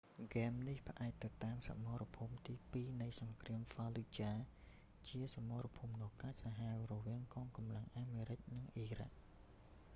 ហ្គេមនេះ ផ្អែកទៅតាមសមរភូមិទីពីរនៃសង្គ្រាម ហ្វាលូចាហ៍ fallujah ជាសមរភូមិដ៏កាចសាហាវរវាងកងកម្លាំងអាមេរិកនិងអ៊ីរ៉ាក់